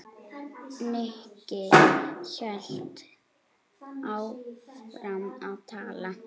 Nikki hélt áfram að tala.